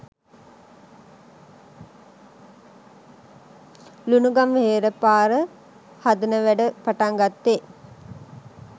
ලුණුගම්වෙහෙර පාර හදන වැඩ පටන් ගත්තේ